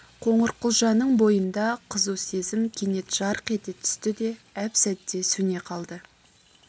қоңырқұлжаның бойында қызу сезім кенет жарқ ете түсті де әп-сәтте сөне қалды